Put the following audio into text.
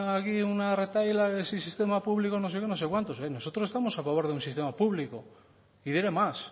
aquí una retahíla que si sistema público no sé qué no sé cuántos oye nosotros estamos a favor de un sistema público y diré más